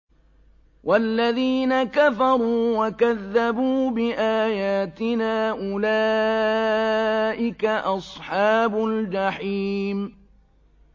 وَالَّذِينَ كَفَرُوا وَكَذَّبُوا بِآيَاتِنَا أُولَٰئِكَ أَصْحَابُ الْجَحِيمِ